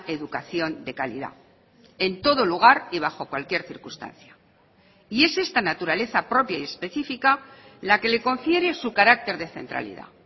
educación de calidad en todo lugar y bajo cualquier circunstancia y es esta naturaleza propia y específica la que le confiere su carácter de centralidad